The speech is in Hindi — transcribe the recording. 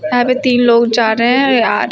यहां पे तीन लोग जा रहे हैं और आ--